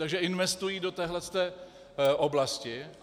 Takže investují do téhle oblasti.